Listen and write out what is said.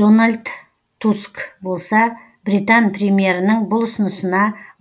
дональд туск болса британ премьерінің бұл ұсынысына